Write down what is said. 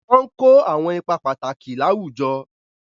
Wọ́n ń kó àwọn ipá pàtàkì láwùjọ.